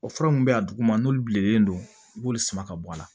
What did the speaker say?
O fura mun bɛ yen a duguma n'olu bilen don i b'olu sama ka bɔ a la